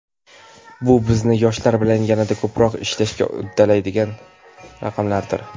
Bu bizni yoshlar bilan yanada ko‘proq ishlashga undaydigan raqamlardir.